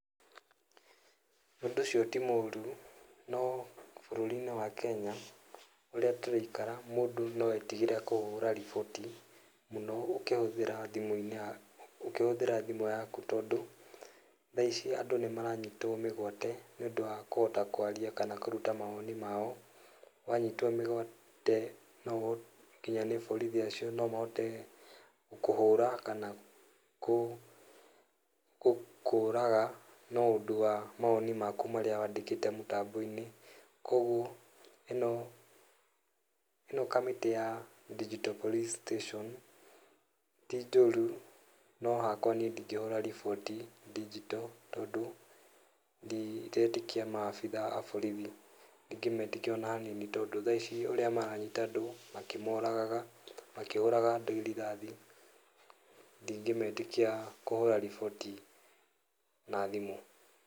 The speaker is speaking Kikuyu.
Ũndũ ũcio tĩ mũrũ, no bũrũri-inĩ wa Kenya ũrĩa tũraikara mũndũ no etĩgĩre kũhũra riboti mũno ũkĩhũthĩra thĩmũ-inĩ, ũkĩhũthĩra thĩmũ yakũ tondũ tha ici andũ nĩmaranyitwo mĩgwate níĩũndũ wa kũhota kwarĩa kana kũrũta mawoni mao. Wanyitwo mĩgwate no nginya nĩ borithi acio no mahote gũkũhũra kana gũkũraga nĩ ũndũ wa mawoni maku marĩa wandĩkĩte mũtambo-inĩ. kogũo ĩno kamĩtĩ ya Digital Police Station ti njũrũ, no hakwa nĩe ndĩngĩhora riboti digital tondũ ndiretĩkia ma abithaa a borithi ndĩngĩmetĩkia ona hanini tondũ tha ici ũrĩa maranyita makĩmoragaga makĩhũraga andũ rithathi ndingĩmetĩkia kũhũra riboti na thĩmũ.